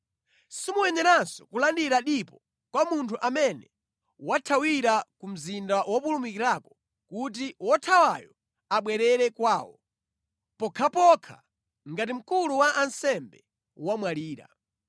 “ ‘Simuyeneranso kulandira dipo kwa munthu amene wathawira ku mzinda wopulumikirako kuti wothawayo abwerere kwawo, pokhapokha ngati mkulu wa ansembe wamwalira.